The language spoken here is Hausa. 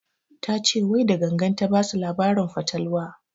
Ta ce wai da gangan ta basu labarin fatalwa